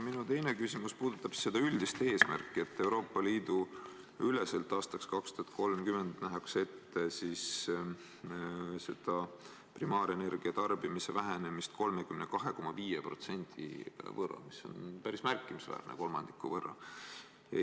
Minu teine küsimus puudutab seda üldist eesmärki, et Euroopa Liidu üleselt nähakse aastaks 2030 ette primaarenergia tarbimise vähenemine 32,5%, mis on päris märkimisväärne, kolmandiku võrra.